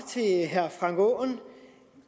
herre frank aaen